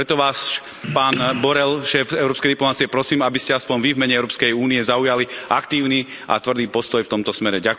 Preto vás, pán Borrell, šéf európskej diplomacie prosím, aby ste aspoň Vy, v mene Európskej únie zaujali aktívny a tvrdý postoj v tomto smere.